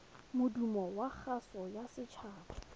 modumo wa kgaso ya setshaba